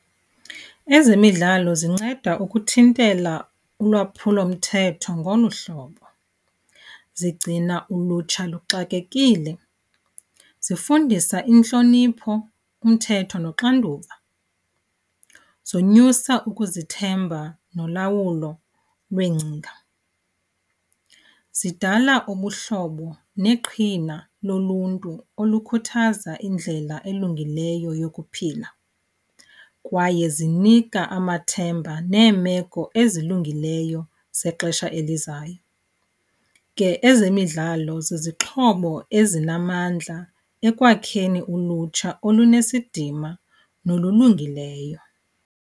Ezemidlalo zinceda ukuthintela ulwaphulomthetho ngolu hlobo. Zigcina ulutsha luxakekile, zifundisa intlonipho, umthetho noxanduva. Zonyusa ukuzithemba nolawulo lweengcinga, zidala ubuhlobo neqhina loluntu olukhuthaza indlela elungileyo yokuphila kwaye zinika amathemba neemeko ezilungileyo zexesha elizayo. Ke ezemidlalo zizixhobo ezinamandla ekwakheni ulutsha olunesidima nolulungileyo.